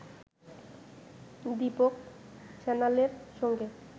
দীপক সান্যালের সঙ্গে